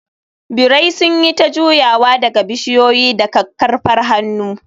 birai sun yi ta jujjuyawa daga bishiyoyi da kakkarfar hannu.